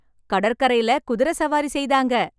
கடற்கரைல குதிரை சவாரி செய்தாங்க.